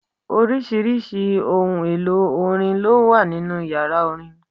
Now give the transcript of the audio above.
Oríṣiríṣi ohun èlò orin ló wà nínú yàrá orin.